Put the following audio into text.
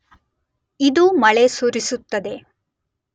ಇದು ಮಳೆ ಸುರಿಸುತ್ತದೆ.